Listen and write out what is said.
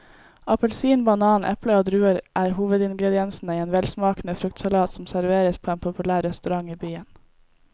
Appelsin, banan, eple og druer er hovedingredienser i en velsmakende fruktsalat som serveres på en populær restaurant i byen.